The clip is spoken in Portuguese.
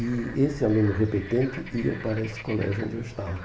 E esse aluno repetente ia para esse colégio onde eu estava.